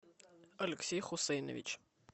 алексей хусейнович